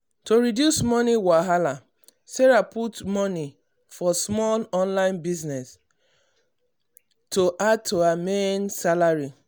to reduce money wahala um sarah put money for small online business to online business to add to her main salary.